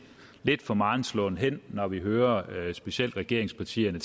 for meget slåen hen når vi hører specielt regeringspartierne